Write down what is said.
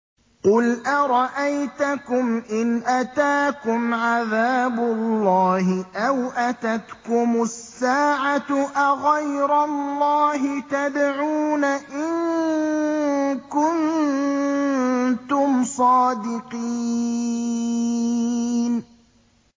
قُلْ أَرَأَيْتَكُمْ إِنْ أَتَاكُمْ عَذَابُ اللَّهِ أَوْ أَتَتْكُمُ السَّاعَةُ أَغَيْرَ اللَّهِ تَدْعُونَ إِن كُنتُمْ صَادِقِينَ